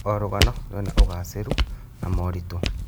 O rũgano rwĩna ũgacĩĩru na moritũ.